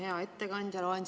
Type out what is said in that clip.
Hea ettekandja!